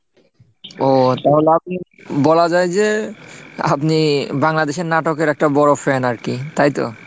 ও তাহলে আপনি বলা যায় যে আপনি বাংলাদেশের নাটকের একটা বড়ো fan আর কি তাইতো?